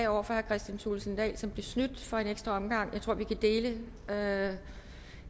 over for herre kristian thulesen dahl som blev snydt for en ekstra omgang jeg tror vi kan dele heroppe